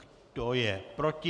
Kdo je proti?